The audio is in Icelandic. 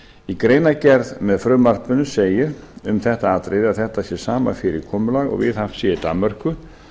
í greinargerð með frumvarpinu segir um þetta atriði að þetta sé sama fyrirkomulag og viðhaft sé í danmörku